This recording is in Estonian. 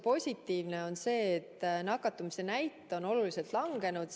Positiivne on see, et nakatumise näit on oluliselt langenud.